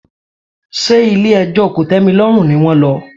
Ṣé ilé ẹjọ́ kòtẹ́milọ́rùn ni wón lọ?